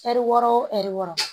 Ɛri wɔɔrɔ wo ɛri wɔɔrɔ